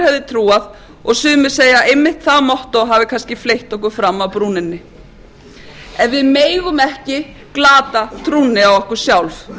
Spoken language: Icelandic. hefði trúað og sumir segja einmitt að það mottó hafi kannski fleytt okkur fram af brúninni en við megum ekki glata trúnni á okkur sjálf